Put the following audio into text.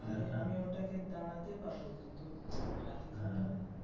আমি ওটাকে দাঁড়াতে পারবো কিন্তু আর refund হবে না.